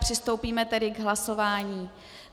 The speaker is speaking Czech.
Přistoupíme tedy k hlasování.